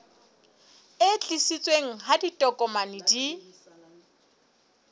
e tiiseditsweng ha ditokomane di